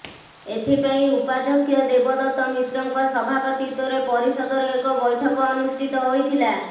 ଏଥିପାଇଁ ଉପାଧ୍ୟକ୍ଷ ଦେବଦତ୍ତ ମିଶ୍ରଙ୍କ ସଭାପତିତ୍ୱରେ ପରିଷଦର ଏକ ବୈଠକ ଅନୁଷ୍ଠିତ ହୋଇଥିଲା